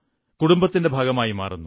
കുടുംബത്തിന്റെ ഭാഗമായി മാറുന്നു